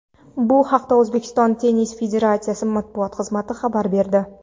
Bu haqda O‘zbekiston tennis federatsiyasi matbuot xizmati xabar berdi .